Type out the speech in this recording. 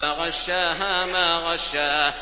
فَغَشَّاهَا مَا غَشَّىٰ